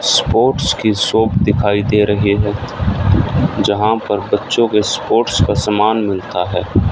Sports की shop दिखाई दे रहे है जहां पर बच्चों के स्पोर्ट्स का समान मिलता है।